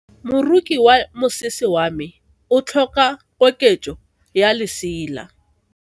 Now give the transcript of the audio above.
Moroki wa mosese wa me o tlhoka koketso ya lesela.